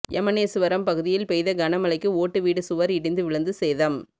எமனேசுவரம் பகுதியில் பெய்த கன மழைக்கு ஓட்டு வீடு சுவா் இடிந்து விழுந்து சேதம்